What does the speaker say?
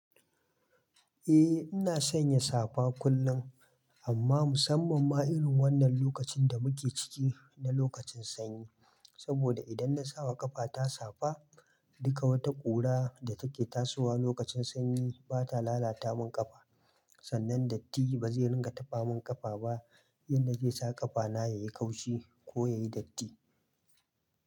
Eh ina sanya safa kullum, amma musamman ma irin wannan lokacin da muke ciki na lokacin sanyi. Saboda idan na sawa ƙafa ta safa, duka wata ƙura da take tasowa lokacin sanyi bata lalata min ƙafa. Sannan datti bazai ringa taɓa min ƙafa ba, inda zai sa ƙafa na yayi kaushi ko yayi datti.